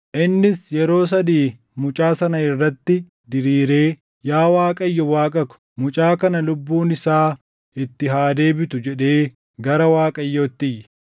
Innis yeroo sadii mucaa sana irratti diriiree, “Yaa Waaqayyo Waaqa ko, mucaa kana lubbuun isaa itti haa deebitu” jedhee gara Waaqayyootti iyye.